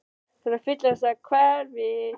Ég er að fyllast af kvefi.